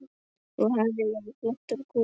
Þú hefðir verið flottur kúreki.